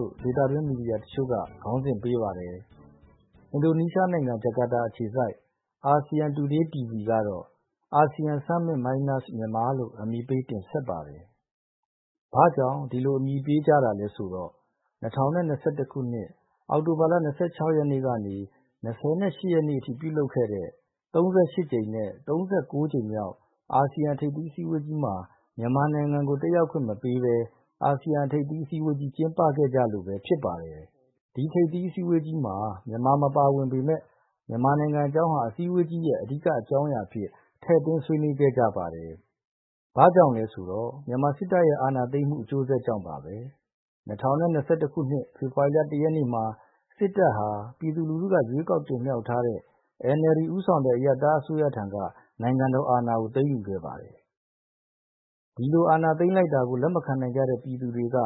ို့ ဒေသတွင်းမီဒီယာတချို့ ခေါင်းစဉ်ပေးပါတယ်။ အင်ဒိုနီးရှားနိုင်ငံ၊ ဂျာကာတာ အခြေစိုက် အာဆီယံတူဒေးတီဗီ(ASEAN Today TV ) ကတော့ ASEAN Summit Minus Myanmar လို့ အမည်ပေးတင်ဆက်ပါတယ်။ ဘာကြောင့် ဒီလိုနာမည်ပေးကြတာလဲဆိုတော့ ၂၀၂၁ ခုနှစ်၊ အောက်တိုဘာ ၂၆ ရက်ကနေ ၂၈ ရက်အထိ ပြုလုပ်ခဲ့တဲ့ ၃၈ ကြိမ်မြောက်နဲ့ ၃၉ ကြိမ်မြောက် အာဆီယံထိပ်သီးအစည်းအဝေးကြီးမှာ မြန်မာနိုင်ငံကို တက်ရောက်ခွင့်မပေးဘဲ အာဆီယံထိပ်သီးအစည်းအဝေးကြီး ကျင်းပခဲ့ကြလို့ပဲ ဖြစ်ပါတယ်။ ထိပ်သီးအစည်းအဝေးကြီးမှာ မြန်မာ မပါဝင်ပေမယ့် မြန်မာနိုင်ငံအကြောင်းဟာ အစည်းအဝေးကြီးရဲ့အဓိကအကြောင်းအရာအဖြစ် ထည့်သွင်းဆွေးနွေးခဲ့ကြပါတယ်။ ဘာကြောင့်လဲဆိုတော့ မြန်မာစစ်တပ်ရဲ့ အာဏာသိမ်းမှုအကျိုးဆက်ကြောင့်ပါပဲ။၂၀၂၁ ခုနှစ်၊ဖေဖော်ဝါရီလ ၁ ရက်နေ့မှာ စစ်တပ်ဟာ ပြည်သူလူထုက ရွေးကောက်တင်မြှောက်ထားတဲ့ NLD ဦးဆောင်တဲ့ အရပ်သားအစိုးရထံက နိုင်ငံတော်အာဏာကို သိမ်းယူခဲ့ပါတယ်။ ဒီလိုအာဏာသိမ်းလိုက်တာကို လက်မခံနိုင်ကြတဲ့ ပြည်သူတွေက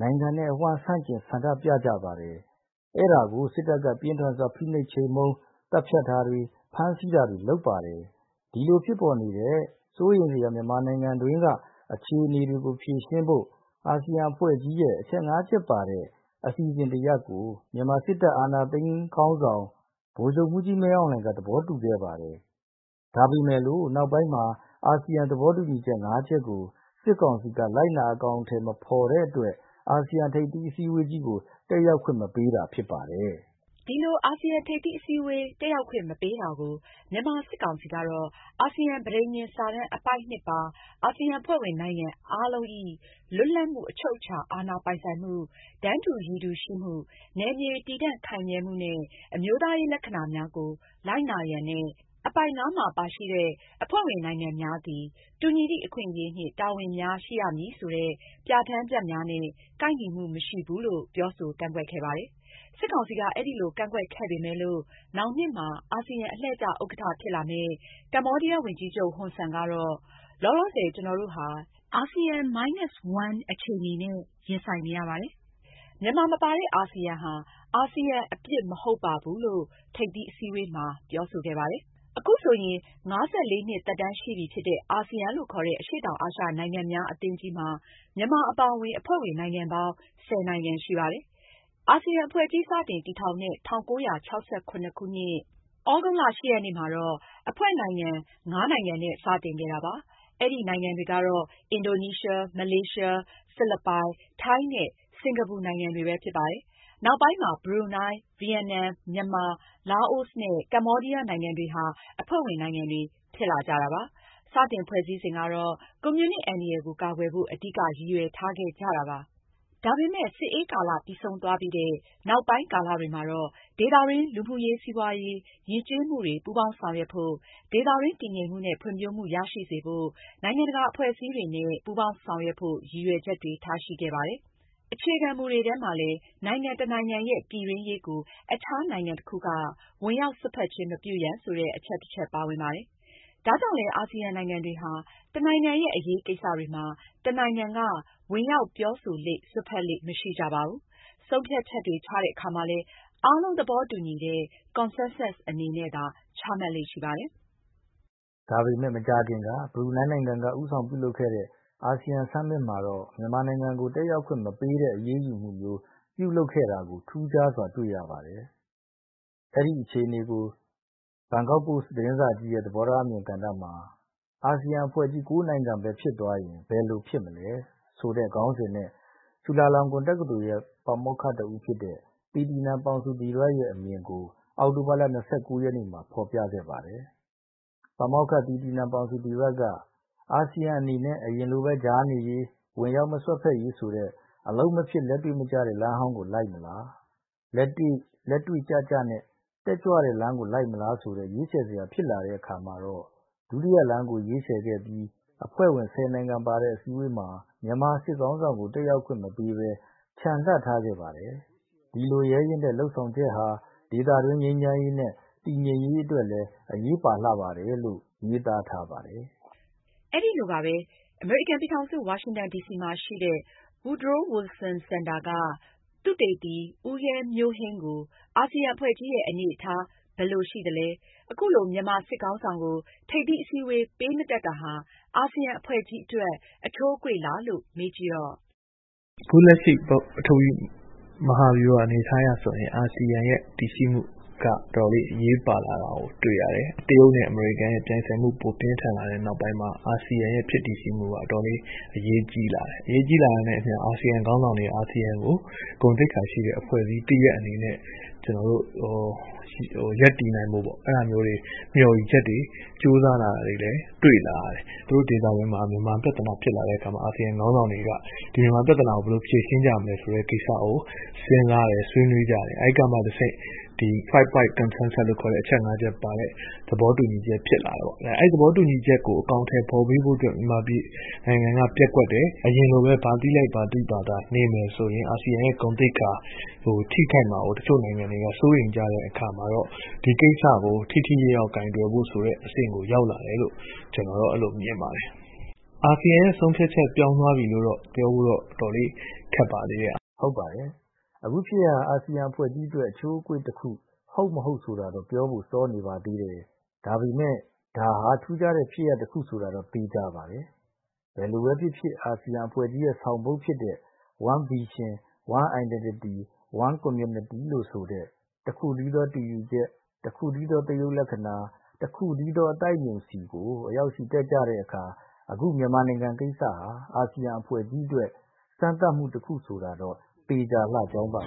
နိုင်ငံအဝှမ်း ဆန့်ကျင်ဆန္ဒပြကြပါတယ်။ အဲဒါကို စစ်တပ်က ပြင်းထန်စွာ ဖိနှိပ် ချေမှုန်းသတ်ဖြတ်တာတွေ၊ ဖမ်းဆီးတာတွေ လုပ်ပါတယ်။ ဒီလိုဖြစ်ပေါ်နေတဲ့ စိုးရိမ်စရာမြန်မာနိုင်ငံအတွင်းက အခြေအနေတွေကို ဖြေရှင်းဖို့ အာဆီယံအဖွဲ့ကြီးရဲ့ အချက် ၅ချက်ပါတဲ့ အစီအစဉ်တစ်ရပ်ကို မြန်မာစစ်တပ် အာဏာသိမ်းခေါင်းဆောင် ဗိုလ်ချုပ်မှူးကြီးမင်းအောင်လှိုင်က သဘောတူခဲ့ပါတယ်။ ဒါပေမဲ့လို့ နောက်ပိုင်းမှာ အာဆီယံသဘောတူညီချက် ၅ ချက်ကို စစ်ကောင်စီက လိုက်နာအကောင်အထည်မဖော်တဲ့အတွက် အာဆီယံထိပ်သီးအစည်းအဝေးကို တက်ရောက်ခွင့် မပေးတာ ဖြစ်ပါတယ်။ ဒီလို အာဆီယံထိပ်သီးအစည်းအဝေးတက်ရောက်ခွင့် မပေးတာကို မြန်မာစစ်ကောင်စီကတော့ အာဆီယံ ပဋိညာဉ်စာတမ်း အပိုဒ် ၂ ပါ " အာဆီယံအဖွဲ့ဝင်နိုင်ငံအားလုံး၏ လွတ်လပ်မှု၊ အချုပ်အခြာအာဏာပိုင်ဆိုင်မှု၊ တန်းတူရည်တူ ရှိမှု၊နယ်မြေတည်တံ့ခိုင်မြဲမှုနှင့် အမျိုးသားရေးလက္ခဏာများကို လိုက်နာရန်" နဲ့ အပိုဒ် ၅မှာ ပါရှိတဲ့ " အဖွဲ့ဝင်နိုင်ငံများသည် တူညီသည့်အခွင့်အရေးနှင့် တာဝန်များ ရှိရမည်" ဆိုတဲ့ ပြဋ္ဌာန်းချက်များနဲ့ ကိုက်ညီမှု မရှိဘူးလို့ ပြောဆိုကန့်ကွက်ခဲ့ပါတယ်။ စစ်ကောင်စီက အဲဒီလိုကန့်ကွက်ခဲ့ပေမယ်လို့ နောင်နှစ်မှာ အာဆီယံ အလှည့်ကျဥက္ကဋ္ဌဖြစ်လာမယ့် ကမ္ဘောဒီးယားဝန်ကြီးချုပ်ဟွန်ဆန်ကတော့ " လောလောဆယ်ကျွန်တော်တို့ဟာ ASEAN Minus One အခြေအနေနဲ့ ရင်ဆိုင်နေရပါတယ်။ မြန်မာမပါတဲ့ အာဆီယံဟာ အာဆီယံအပြစ် မဟုတ်ပါဘူး" လို့ ထိပ်သီးအစည်းအဝေးမှာပြောဆိုခဲ့ပါတယ်။ အခုဆိုရင် ၅၄ နှစ်သက်တမ်းရှိပြီဖြစ်တဲ့ အာဆီယံလို့ခေါ်တဲ့ အရှေ့တောင်အာရှနိုင်ငံများအသင်းကြီးမှာ မြန်မာအပါအဝင် အဖွဲ့ဝင်နိုင်ငံပေါင်း ၁၀ နိုင်ငံရှိပါတယ်။ အာဆီယံအဖွဲ့ကြီး စတင်တည်ထောင်တဲ့ ၁၉၆၇ ခုနှစ်၊ သြဂုတ်လ ၈ ရက်နေ့မှာတော့ အဖွဲ့နိုင်ငံ ၅ နိုင်ငံနဲ့ စတင်ခဲ့တာပါ။ အဲဒီနိုင်ငံတွေကတော့ အင်ဒိုနီးရှား၊ မလေးရှား၊ ဖိလစ်ပိုင်၊ ထိုင်း နဲ့ စင်ကာပူနိုင်ငံတွေပဲ ဖြစ်ပါတယ်။နောက်ပိုင်းမှာ ဘရူနိုင်း၊ ဗီယက်နမ်၊ မြန်မာ၊ လာအိုနဲ့ကမ္ဘောဒီးယားနိုင်ငံတွေဟာ အဖွဲ့ဝင်နိုင်ငံတွေ ဖြစ်လာကြတာပါ။ စတင်ဖွဲ့စည်းစဉ်ကတော့ ကွန်မြူနစ်အန္တရာယ်ကို ကာကွယ်ဖို့ အဓိကရည်ရွယ်ချက်ထားခဲ့ကြတာပါ။ဒါပေမယ့် စစ်အေးကာလပြီးဆုံးသွားပြီးတဲ့ နောက်ပိုင်းကာလတွေမှာတော့ ဒေသတွင်း လူမှုရေး၊ စီးပွါးရေး၊ ယဉ်ကျေးမှုတွေ ပူးပေါင်းဆောင်ရွက်ဖို့၊ ဒေသတွင်းတည်ငြိမ်မှုနဲ့ ဖွံ့ဖြိုးမှု ရရှိစေဖို့၊ နိုင်ငံတကာအဖွဲ့အစည်းများနဲ့ ပူးပေါင်းဆောင်ရွက်ဖို့ရည်ရွယ်ချက်တွေ ထားရှိခဲ့ပါတယ်။ အခြေခံမူတွေထဲမှာလည်း နိုင်ငံတစ်နိုင်ငံရဲ့ပြည်တွင်းရေးကို အခြားနိုင်ငံတစ်ခုက ဝင်ရောက်စွက်ဖက်ခြင်း မပြုရန် ဆိုတဲ့အချက်တစ်ချက် ပါဝင်ပါတယ်။ ဒါကြောင့်လည်း အာဆီယံနိုင်ငံတွေဟာ တစ်နိုင်ငံရဲ့အရေးကိစ္စတွေမှာ တစ်နိုင်ငံက ဝင်ရောက်ပြောဆိုလေ့၊ စွက်ဖက်လေ့ မရှိကြပါဘူး။ ဆုံးဖြတ်ချက်တွေ ချတဲ့အခါမှာလည်း အားလုံးသဘောတူညီတဲ့ Consensus အနေနဲ့သာ ချမှတ်လေ့ ရှိပါတယ်။ ဒါပေမဲ့ မကြာခင်က ဘရူနိုင်းနိုင်ငံက ဦးဆောင်ပြုလုပ်ခဲ့တဲ့ အာဆီယံ Summit မှာတော့ မြန်မာနိုင်ငံကို တက်ရောက်ခွင့်မပေးတဲ့အရေးယူမှုမျိုး ပြုလုပ်ခဲ့တာကိုထူးခြားစွာ တွေ့ရပါတယ်။ အဲဒီအခြေအနေကို Bangkok Post သတင်းစာကြီးရဲ့သဘောထားအမြင်ကဏ္ဍမှာ" အာဆီယံအဖွဲ့ကြီး ၉ နိုင်ငံပဲဖြစ်သွားရင် ဘယ်လိုဖြစ်မလဲ" ခေါင်းစဉ်နဲ့ ချူလာလောင်ကွန်တက္ကသိုလ်ရဲ့ ပါမောက္ခတစ်ဦးဖြစ်တဲ့ သီတီနန် ပေါင်ဆူဒီရက်ရဲ့ အမြင်ကို အောက်တိုဘာလ ၂၉ ရက်နေ့မှာ ဖော်ပြခဲ့ပါတယ်။ ပါမောက္ခသီတီနန် ပေါင်ဆူဒီရတ်က " အာဆီယံအနေနဲ့ အရင်လိုပဲ ကြားနေရေး၊ ဝင်ရောက်မစွက်ဖက်ရေးဆိုတဲ့ အလုပ်မဖြစ်၊ လက်တွေ့မကျတဲ့ လမ်းဟောင်းကို လိုက်မလား။လက်တွေ့ကျကျနဲ့ တက်ကြွတဲ့ လမ်းကို လိုက်မလားဆိုတဲ့ ရွေးချယ်စရာ ဖြစ်လာတဲ့အခါ ဒုတိယလမ်းကိုရွေးချယ်ခဲ့ပြီး အဖွဲ့ဝင် ဆယ်နိုင်ငံပါတဲ့အစည်းအဝေးမှာ မြန်မာစစ်ခေါင်းဆောင်ကို တက်ရောက်ခွင့်မပေးဘဲ ချန်လှပ်ထားခဲ့ပါတယ်။ ဒီလိုရဲရင့်တဲ့လုပ်ဆောင်ချက်ဟာ ဒေသတွင်း ငြိမ်းချမ်းရေးနဲ့ တည်ငြိမ်ရေးအတွက်လည်း အရေးပါလှတယ်။"လို့ ရေးသားထားပါတယ်။ အဲဒီလိုပါပဲ။ အမေရိကန်ပြည်ထောင်စု ဝါရှင်တန်ဒီစီမှာ ရှိတဲ့ Woodrow Wilson Center က သုတေသနသမား ဦးရဲမျိုးဟိန်းကို အာဆီယံအဖွဲ့ကြီးရဲ့ အနေအထားဘယ်လိုရှိသလဲ၊ အခုလို မြန်မာစစ်ခေါင်းဆောင်ကို ထိပ်သီးအစည်းအဝေး ပေးမတက်တာဟာ အာဆီယံအဖွဲ့ကြီးအတွက် အချိုးအကွေ့လားလို့ မေးကြည့်တော့ "ပထဝီအနေအထားအရဆိုရင် အာဆီယံအနေအထားက အတော်လေးအရေးပါလာတာကို တွေ့ရတယ်။ တရုတ်နဲ့အမေရိကန်ပြိုင်ဆိုင်မှုပြင်းထန်လာတဲ့နောက်ပိုင်း အာဆီယံဖြစ်တည်မှုက အရေးကြီးလာတာနဲ့အမျှ အာဆီယံခေါင်းဆောင်တွေက အာဆီယံကို ဂုဏ်သိက္ခာရှိတဲ့ အဖွဲ့တစ်ရပ်အနေနဲ့ ရပ်တည်ဖို့ ကြိုးစားလာတာကို တွေ့ရတယ်။ ဒေသတွင်းမှာ မြန်မာပြဿနာဖြစ်လာတဲ့အခါ အာဆီယံခေါင်းဆောင်တွေကမြန်မာပြဿနာဘယ်လိုဖြေရှင်းကြမလဲ ဆွေးနွေးကြတဲ့အခါ Five Point Concensus လို့ ခေါ်တဲ့ သဘောတူညီချက် ဖြစ်လာတယ်။ အဲဒီသဘောတူညီချက် ၅ ချက်ကိုအကောင်အထည်ဖော်ဖို့ မြန်မာက ပျက်ကွက်တယ်။ အရင်လိုပဲ ဘာသိဘာသာနေမယ်ဆိုရင် အာဆီယံဂုဏ်သိက္ခာ ထိခိုက်မှာကို နိုင်ငံတချို့က စိုးရိမ်ကြတဲ့အခါကျတော့ ဒီကိစ္စကို ထိထိရောက်ရောက်ကိုင်တွယ်ဖို့အဆင့်ကို ရောက်လာတယ်လို့ မြင်ပါတယ်။ အာဆီယံပြောင်းသွားပြီလို့ ပြောဖို့တော့ အတော်လေး ခက်ပါသေးတယ်။ " ဟုတ်ပါတယ်။ အခုဖြစ်ရပ်ဟာ အာဆီယံအဖွဲ့ကြီးအတွက် အချိုးအကွေ့တစ်ခုဟုတ်၊ မဟုတ် ဆိုတာတော့ ပြောဖို့စောနေပါသေးတယ်။ ဒါပေမဲ့ ဒါဟာ ထူးခြားတဲ့ဖြစ်ရပ် တစ်ခုဆိုတာတော့ သေချာပါတယ်။ ဘယ်လိုပဲဖြစ်ဖြစ် အာဆီယံအဖွဲ့ကြီးရဲ့ဆောင်ပုဒ်ဖြစ်တဲ့" One Vision, One Identity ,One Community " တစ်ခုတည်းသောတူရူချက်၊တစ်ခုတည်းသော သရုပ်လက္ခဏာ၊တစ်ခုတည်းသော အသိုက်အမြုံ" ဆီကိုအရောက်ချီတက်တဲ့အခါ အခုမြန်မာနိုင်ငံကိစ္စဟာ အာဆီယံအဖွဲ့ကြီးအတွက်စမ်းသပ်မှုတစ်ခုဆိုတာတော့ သေချာလှကြောင်းပါ